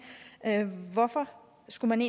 hvorfor skulle man